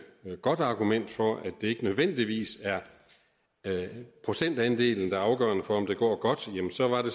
godt argument for at det ikke nødvendigvis er procentandelen der er afgørende for om det går godt jamen så var det